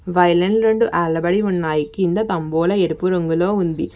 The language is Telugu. వైలెన్ రెండు వేలబడి ఉన్నాయి కింద తంబోలా ఎరుపు రంగులో ఉంది.